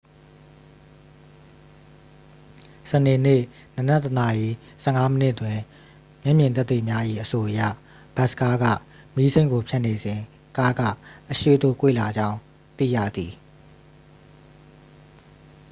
စနေနေ့ နံနက် 1 နာရီ 15 မိနစ်တွင် မျက်မြင်သက်သေများ၏ အဆိုအရ ဘတ်စ်ကားက မီးစိမ်းကို ဖြတ်နေစဉ် ကားက အရှေ့သို့ ကွေ့လာကြောင်း သိရသည်